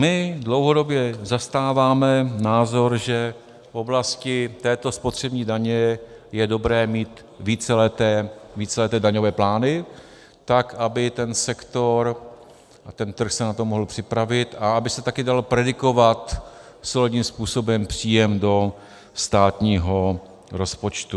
My dlouhodobě zastáváme názor, že v oblasti této spotřební daně je dobré mít víceleté daňové plány, tak aby ten sektor a ten trh se na to mohl připravit a aby se také dal predikovat solidním způsobem příjem do státního rozpočtu.